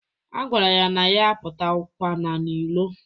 A gwara ya na ya apụtakwana n'ilo.